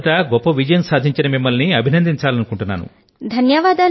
మొదట గొప్ప విజయం సాధించిన మిమ్మల్ని అభినందించాలనుకుంటున్నాను